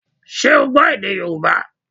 Ṣé o gbọ́ èdè Yorùbá